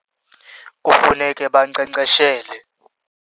Kufuneke bankcenkceshele.